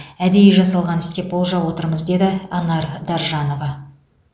әдейі жасалған іс деп болжап отырмыз деді анар даржанова